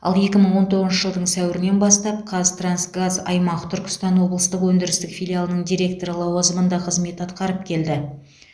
ал екі мың он тоғызыншы жылдың сәуірінен бастап қазтрансгаз аймақ түркістан облыстық өндірістік филиалының директоры лауазымында қызмет атқарып келді